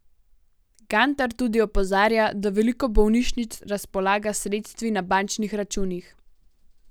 Gantar tudi opozarja, da veliko bolnišnic razpolaga s sredstvi na bančnih računih.